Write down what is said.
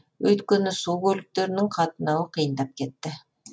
өйткені су көліктерінің қатынауы қиындап кетті